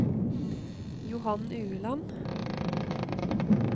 Johan Ueland